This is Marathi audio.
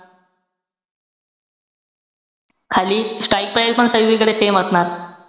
खाली strike price पण सगळीकडे same असणार.